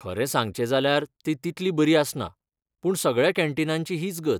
खरें सांगचें जाल्यार, ती तितली बरी आसना, पूण सगळ्या कॅन्टीनांची हीच गत.